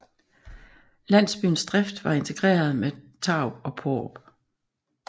Landsbyens drift var integreret med Tarup og Paarup